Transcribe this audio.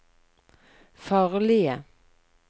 farlige